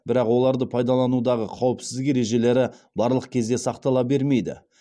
бірақ оларды пайдаланудағы қауіпсіздік ережелері барлық кезде сақтала бермейді